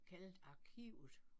Kaldet arkivet